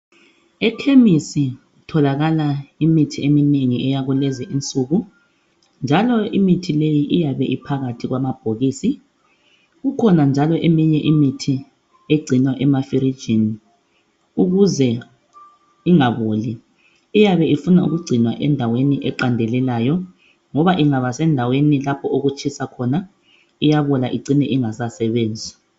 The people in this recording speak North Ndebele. WpEkhemessi kutholakala imithi eminengi, eyakulezi insuku, njalo imithi leyi iyabe iphakathi kwamabhokisi. Kukhona njalo eminye imithi egcinwa emafrijini, ukuze ingaboli. Iyabe ifuna ukugcinwa endaweni eqandelelayo, ngoba ingaba sendaweni lapho okutshisa khona. Iyabola icine ingasasebenzi..